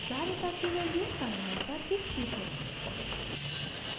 धारिता capacitance की value terminal पर दिखती है